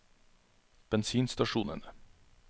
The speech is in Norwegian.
bensinstasjonene